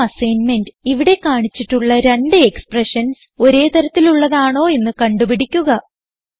ഒരു അസ്സൈൻമെന്റ് ഇവിടെ കാണിച്ചിട്ടുള്ള രണ്ട് എക്സ്പ്രഷൻസ് ഒരേ തരത്തിലുള്ളതാണോ എന്ന് കണ്ട് പിടിക്കുക